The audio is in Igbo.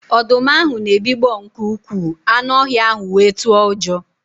Ọdụm ahụ na-ebigbọ nke ukwuu, anụ ọhịa ahụ wee tụọ ụjọ